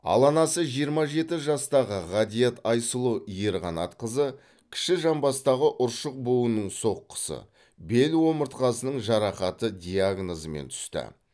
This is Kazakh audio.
ал анасы жиырма жеті жастағы ғатиат айсұлу ерқанатқызы кіші жамбастағы ұршық буынының соққысы бел омыртқасының жарақаты диагнозымен түсті